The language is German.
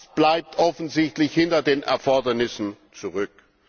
Das bleibt offensichtlich hinter den Erfordernissen zurück.